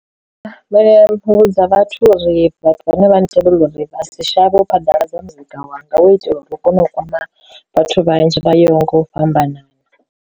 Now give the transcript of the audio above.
Vha vhe vhudza vhathu uri vhathu vhane vha ntevhelela uri vha si shavhe u phaḓaladza muzika wanga hu itela uri hu kone u kwama vhathu vhanzhi vha yaho nga u fhambanana.